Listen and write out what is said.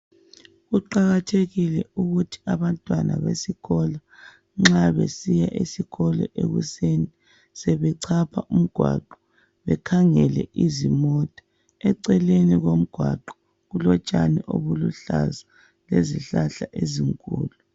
Kuqakathekile ukuthi abantwana besikolo besiya esikolo ekuseni sebechapha umgwaqo bekhangele izimota eceleni komgwaqo kulotshani obuluhlaza lezihlahla ezinkulu.